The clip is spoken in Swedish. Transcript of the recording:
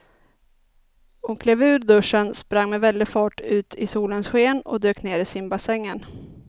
Hon klev ur duschen, sprang med väldig fart ut i solens sken och dök ner i simbassängen.